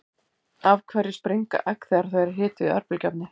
af hverju springa egg þegar þau eru hituð í örbylgjuofni